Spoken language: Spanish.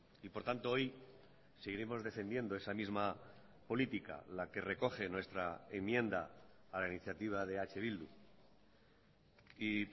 y por tanto hoy seguiremos defendiendo esa misma política la que recoge nuestra enmienda a la iniciativa de eh bildu y